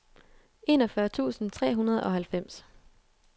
enogfyrre tusind tre hundrede og halvfems